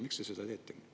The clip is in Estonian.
Miks te seda teete?